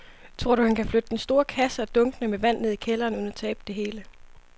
Tror du, at han kan flytte den store kasse og dunkene med vand ned i kælderen uden at tabe det hele?